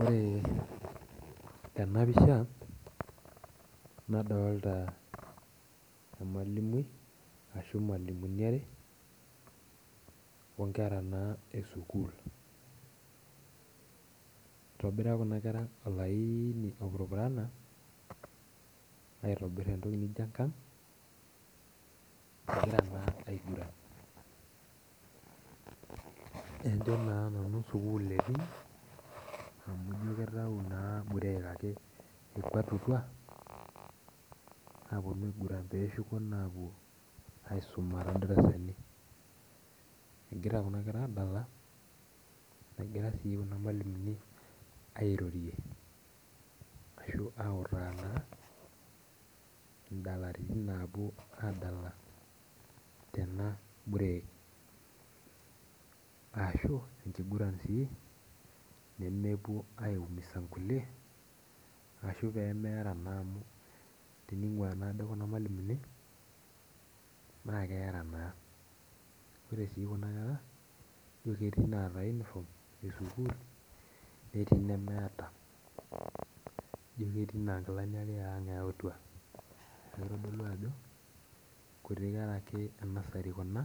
Ore tenapisha nadolta ormalimui ashu irmalimuni are onkera na esukul itobira kuna kera olaini opurupurana aitobir entoki nijo enkang najo na nanu sukul etii amu ino kitau na burek ipangutua aiguran na peshuko aiguran tondarasani egira kuna kera adala negira sinche irmalimulini airorie ashu autaa na nkatitin napuo adala enaburek ashu enkiguran si nemepuo aigusa nkulie ashu pemeara amu teningua ade kuna malimuni na keera naa ore si kuna kera naketi naata uniform esukul netii nemeeta ijo ketii na nkilanibeang ake eyautua neaku kitodolu ajo nkuti kera enasari kuna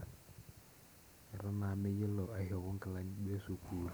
atan meyiolo aishopo nkilani esukul.